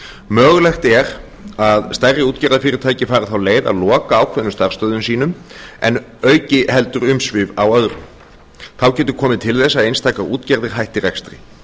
mögulegt er að stærri útgerðarfyrirtæki fari þá leið að loka ákveðnum starfsstöðvum sínum en auki heldur umsvif á öðrum þá getur komið til þess að einstakar útgerðir hætti rekstri